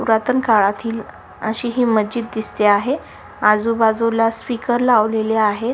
पुरातन काळातील अशी ही मशीद दिसते आहे आजूबाजूला स्पीकर लावलेले आहे.